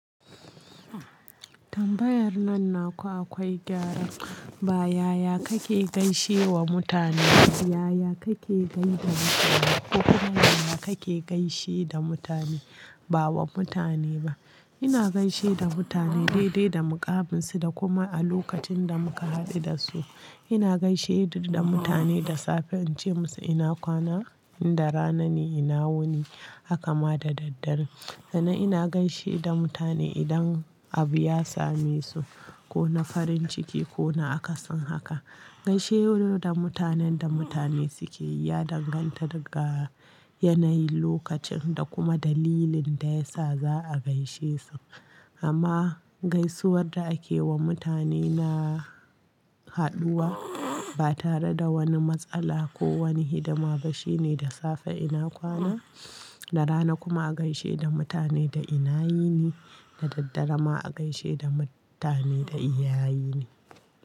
Tambayar nan naku akwai gyara. Ba yaya kake gaishe wa mutane ba, yaya kake gaida mutane. Kokuma yaya kake gaishe da mutane, ba wa mutane ba. Ina gaishe da mutane dai dai da muƙamin su da kuma a lokacin da muka haɗu da su. Ina gaishe da mutane da safe in ce musu ina kwana, in da rana ne ina wuni, haka ma da daddare. Sannan ina gaishe da mutane idan abu ya same su ko na farin ciki ko na akasin haka. Gaishe da mutanen da mutane suke yi ya danganta daga yanayin lokacin da kuma dalilin da ya sa za'a gaishe su. Amma gaisuwar da ake wa mutane na haduwa ba tare da wani matsala ko wani hidima ba shine da safe ina kwana, da rana kuma a gaishe da mutane da ina yini, da daddare ma a gaishe da mutane da iyayine.